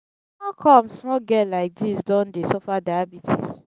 how come small girl like dis don dey suffer diabetes.